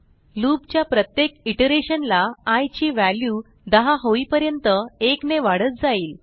loop च्या प्रत्येक iteration ला आय ची व्हॅल्यू 10 होईपर्यंत 1 ने वाढत जाईल